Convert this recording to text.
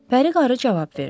Pəri qarı cavab verdi.